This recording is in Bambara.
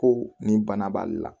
Ko nin bana b'ale la